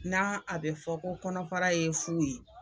Na a bɛ fɔ ko kɔnɔfara ye fu ye.